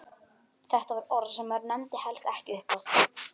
Þetta var orð sem maður nefndi helst ekki upphátt!